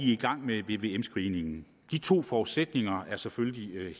i gang med vvm screeningen de to forudsætninger er selvfølgelig